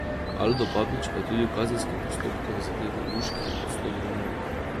Aldo Babič pa je tudi v kazenskem postopku v zadevi luških poslov v Romuniji.